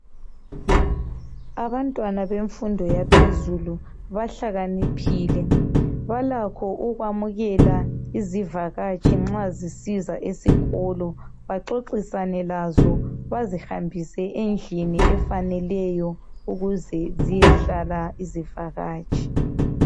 Abantwana bemfundo yaphezulu bahlakaniphile balakho ukwamukela isivakatshi nxa zisiza esikolo baxoxisane lazo bazihambise endlini efaneleyo ukuze ziyehlala.